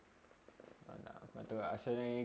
आता असा नाही.